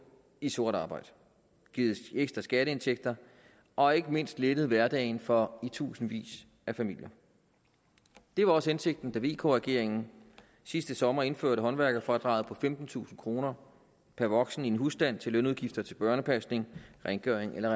i sort arbejde givet ekstra skatteindtægter og ikke mindst lettet hverdagen for i tusindvis af familier det var også hensigten da vk regeringen sidste sommer indførte håndværkerfradraget på femtentusind kroner per voksen i en husstand til lønudgifter til børnepasning rengøring eller